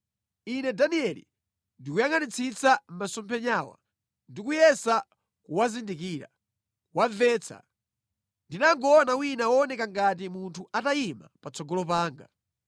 Ine Danieli ndikuyangʼanitsitsa masomphenyawa ndi kuyesa kuwazindikira, kuwamvetsa, ndinangoona wina wooneka ngati munthu atayima patsogolo panga.